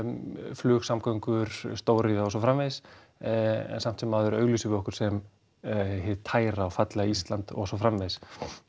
flugsamgöngur stóriðja og svo framvegis en samt sem áður auglýsum við okkur sem hið tæra og fallega Ísland og svo framvegis